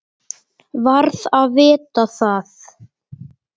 Varð að vita það.